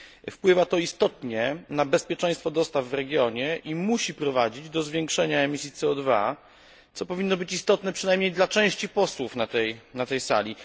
Wpływa to istotnie na bezpieczeństwo dostaw w regionie i musi prowadzić do zwiększenia emisji CO co powinno być istotne przynajmniej dla części posłów na tej sali.